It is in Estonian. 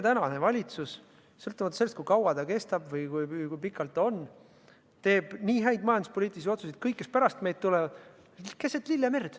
Tänane valitsus, sõltuvalt sellest, kui kaua ta kestab või kui pikalt ta võimul on, teeb nii häid majanduspoliitilisi otsuseid, et kõik, kes pärast meid tulevad, on keset lillemerd.